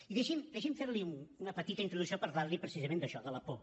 i deixi’m fer li una petita introducció parlant li precisament d’això de la por